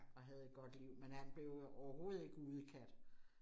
Og havde et godt liv, men han blev jo overhovedet ikke udekat